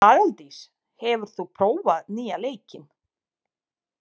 Aðaldís, hefur þú prófað nýja leikinn?